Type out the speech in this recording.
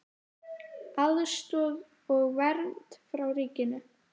Aðstoð og vernd frá ríkinu